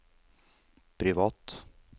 privat